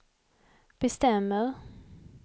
bestämmer